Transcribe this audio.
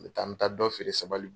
N bi taa n bi taa dɔ feere sabali